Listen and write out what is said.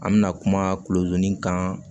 An bɛna kuma kulodimi kan